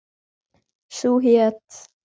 Sú hét